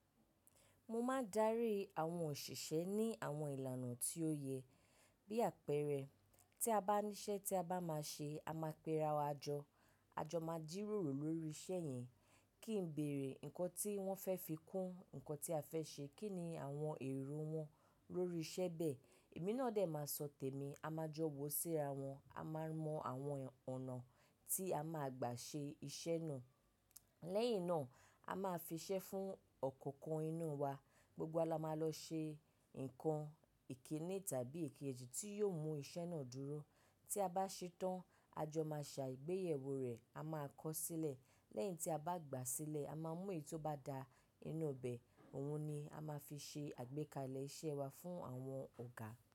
Mo máa dárí àwọn òṣìṣẹ́ ní àwọn ìlànà tí ó yẹ. Bí àpẹẹrẹ, tí a bá níṣẹ́ tí a bá máa ṣe, a máa péra wa jọ, a jọ máa jíròrò lórí iṣẹ́ yẹn. Kí n béèrè nǹkan tí wọ́n fẹ́ fi kún, nǹkan tí a fẹ́ ṣe. Kí ni àwọn èrò wọn lórí iṣẹ́ bẹ́ẹ̀? Èmi náà dè máa sọ tèmi. A máa jọ wò síra wọn, a máa mọ àwọn ọ̀nà tí a máa gbà ṣe iṣẹ́ náà. Lẹ́yìn náà, a máa fi iṣẹ́ fún ọ̀kọ̀ọ̀kan inú wa. Gbogbo wa la máa lọ ṣe nǹkan ìkíni tàbí ìkejì tí yóò mú iṣẹ́ náà dúró. Tí a bá ṣe tán, a jọ máa ṣà ìgbéyẹ̀wò rẹ̀, a máa kọ̀ sílẹ̀. Lẹ́yìn tí a bá gbà á sílẹ̀, a máa mu èyí tó bá da nínú bẹ̀. Òun ni a máa fi ṣe àgbékalẹ̀ iṣẹ́ wa fún àwọn ọ̀gá.